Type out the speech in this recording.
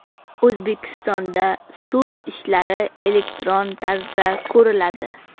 O‘zbekistonda sud ishlari elektron tarzda ko‘riladi.